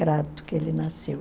que ele nasceu.